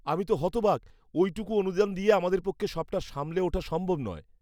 আমি তো হতবাক! ওইটুকু অনুদান দিয়ে আমাদের পক্ষে সবটা সামলে ওঠা সম্ভব নয়।